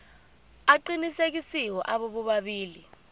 aqinisekisiwe abo bobabili